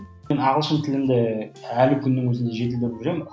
ағылшын тілінде әлі күннің өзінде жетілдіріп жүремін